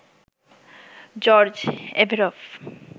George Averoff,